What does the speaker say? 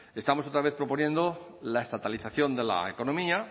estamos otra vez proponiendo la estatalización de la economía